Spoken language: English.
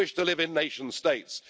We wish to live in nation states.